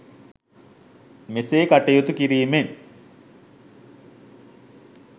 මෙසේ කටයුතු කිරීමෙන්